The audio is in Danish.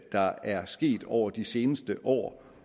der er sket over de seneste år